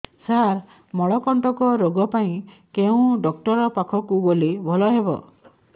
ସାର ମଳକଣ୍ଟକ ରୋଗ ପାଇଁ କେଉଁ ଡକ୍ଟର ପାଖକୁ ଗଲେ ଭଲ ହେବ